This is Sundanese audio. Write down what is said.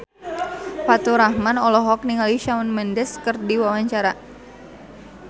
Faturrahman olohok ningali Shawn Mendes keur diwawancara